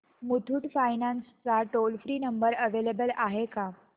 Muthoot finance चा toll free number available आहे का